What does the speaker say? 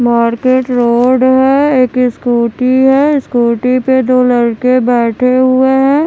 Market road है एक scooty है स्कूटी पे दो लड़के बेठे हुए है।